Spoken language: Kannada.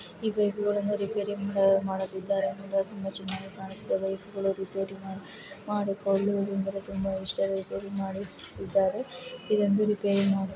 ಈ ಬೈಕ್‌ಗಳನ್ನು ರಿಪೇರಿ ಮಾಡುತ್ತಿದ್ದಾರೆ ಎಂದು ತುಂಬಾ ಚೆನ್ನಾಗಿ ಕಾಣುತ್ತಿದೆ ಈ ಬೈಕ್‌ಗಳನ್ನು ರಿಪೇರಿ ಮಾಡುತ್ತಾ ತುಂಬಾ ಹುಷರಾಗಿ ರಿಪೇರಿ ಮಾಡುತ್ತಿದ್ದಾರೆ ಇದೊಂದು ರಿಪೇರಿ ಮಾಡುವ--